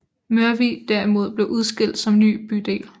Mørvig derimod blev udskilt som ny bydel